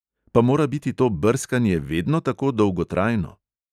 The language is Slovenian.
Pa mora biti to brskanje vedno tako dolgotrajno?